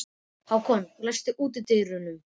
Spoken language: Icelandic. Hákon, læstu útidyrunum.